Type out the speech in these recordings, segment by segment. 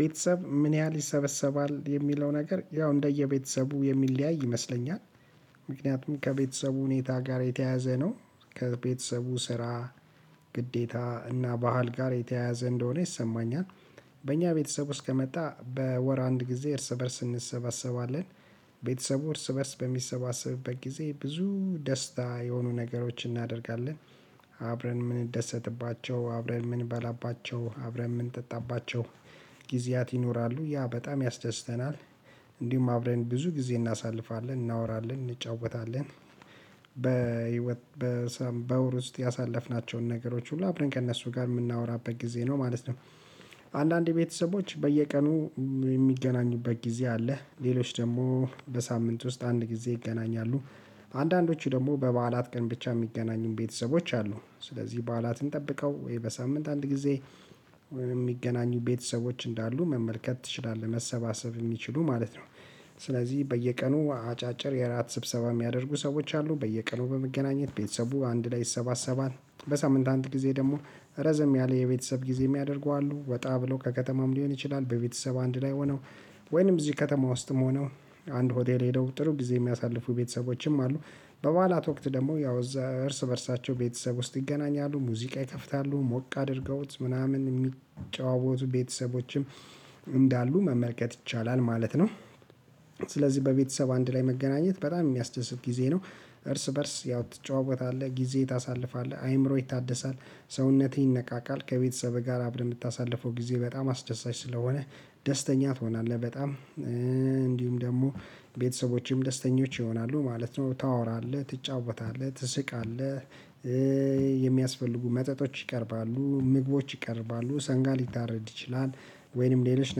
ቤተሰብ ምን ያህል ይሰበሰባል የሚለው ነገር ያው እንደ የቤትሰቡ የሚለያይ ይመስለኛል። ምክንያቱም ከቤትሰቡ ሁኔታ ጋር የተያያዘ ነው። ከቤትሰቡ ስራ፣ ግዴታ እና ባህል ጋር የተያያዘ እንደሆነ ይሰማኛል። በኛ ቤተሰብ ውስጥ ከመጣ በወር አንድ ጊዜ እርስበርስ እንሰብሰባለን። ቤተሰቡ እርስ በእርስ በሚሰባሰበብት ጊዜ ብዙ ደስታ የሆኑ ነገሮችን እናደርጋለን። አብረን ምንደሰትባቸው፣ አብረን ምን በላባቸው፣ አብረን ምንጠጣባቸው ጊዜያት ይኖራሉ። ያ በጣም ያስደስተናል እንዲሁም አብረን ብዙ ጊዜ እናሳልፋለን፣ እናወራለን፣ እንጫወታለን። በወር ውስጥ ያሳለፍናቸው ነገሮች ሁሉ አብረን ከእነሱ ጋር ምናወራበት ጊዜ ነው ማለት ነው። አንዳንዴ ቤተሰቦች በየቀኑ የሚገናኙ በጊዜ አለ። ሌሎች ደግሞ በሳምንት ውስጥ አንድ ጊዜ ይገናኛሉ። አንዳንዶቹ ደግሞ በባዕላት ቀን ብቻ የሚገናኙ ቤተሰቦች አሉ። ስለዚህ ባዕላትን ጠብቀው ወይም በሳምንት አንድ ጊዜ የሚገናኙ ቤተሰቦች እንዳሉ መመልከት ትችላለህ። መሰባሰብ የሚችሉ ማለት ነው። ስለዚህ በየቀኑ አጫጭር የእራት ስብሰብ የሚያደርጉ ሰዎች አሉ። በየቀኑ በመገናኘት ቤትሰቡ አንድ ላይ ይሰባሰባል። በሳምንት አንድ ጊዜ ደግሞ እረዘም ያለ የቤተሰብ ጊዜ የሚያደርጉ አሉ። ወጣ ብሎ ከከተማም ሊሆን ይችላል። በቤተሰብ አንድ ላይ ሆነው ወይም እዚህ ከተማ ውስጥም ሆነው አንድ ሆቴል ሄደው ጥሩ ጊዜ የሚያሳልፉ ቤትሰቦችም አሉ። በባዕላት ወቅት ደግሞ ያው እዛ እርስ በእርሳቸው ቤተሰብ ውስጥ ይገናኛሉ። ሙዚቃ ይከፍታሉ፣ ሞቅ አድርገውት ምናምን የሚጫወቱ ቤተሰቦችም እንዳሉ መመልከት ይቻላል ማለት ነው። ስለዚህ በቤተሰብ አንድ ላይ መገናኘት በጣም የሚያስደስት ጊዜ ነው። እርስ በርስ ያው ትጨዎወታለህ፣ ጊዜ ታሳልፋለህ፣ አይምሮ ይታደሳል፣ ሰውነትህ ይነቃቃል። ከቤተሰብ ጋር አብረህ ምታሳልፈው ጊዜ በጣም አስደሳች ስለሆነ ደስተኛት ትሆናለህ በጣም። እንዲሁም ደግሞ ቤተሰቦችም ደስተኞች ይሆናሉ። ማለት ነው ታወራለህ፣ ትጫወታለህ፣ ትስቅአለህ። የሚያስፈልጉ መጠቶች ይቀርባሉ፣ ምግቦች ይቀርባሉ፣ ሰንጋ ሊታረድ ይችላል ወይንም ሌሎች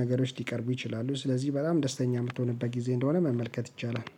ነገሮች ሊቀርቡ ይችላሉ። ስለዚህ በጣም ደስተኛ ምትሆንበት ጊዜ እንደሆነ መመልከት ይቻላል